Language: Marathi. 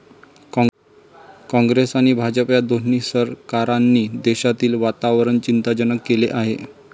काँग्रेस आणि भाजप या दोन्ही सरकारांनी देशातील वातावरण चिंताजनक केले आहे.